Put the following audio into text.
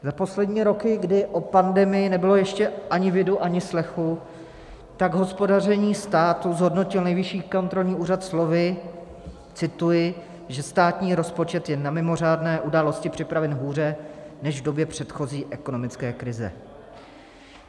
Za poslední roky, kdy po pandemii nebylo ještě ani vidu, ani slechu, tak hospodaření státu zhodnotil Nejvyšší kontrolní úřad slovy - cituji - že státní rozpočet je na mimořádné události připraven hůře než v době předchozí ekonomické krize.